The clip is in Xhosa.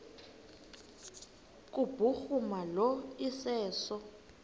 kubhuruma lo iseso